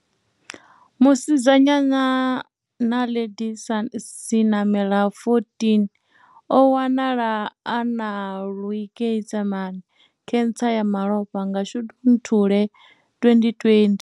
Musidzanyana Naledi Senamela 14 o wanala a na leukaemia khentsa ya malofha nga Shundu nthule 2020.